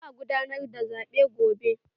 Za'a gudanar da zaɓen gobe.